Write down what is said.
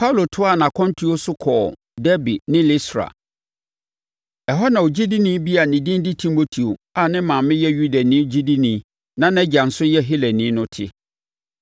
Paulo toaa nʼakwantuo no so kɔɔ Derbe ne Listra. Ɛhɔ na na ogyidini bi a ne din de Timoteo a ne maame yɛ Yudani ogyidini na nʼagya nso yɛ Helani no te.